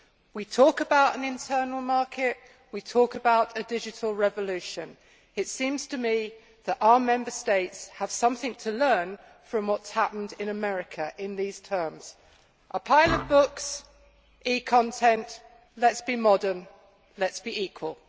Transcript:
We talk about an internal market, we talk about a digital revolution. It seems to me that our Member States have something to learn from what has happened in America in these terms. A pile of books or e content. Let us be modern, let us be equal.